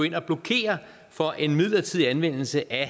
ind og blokere for en midlertidig anvendelse af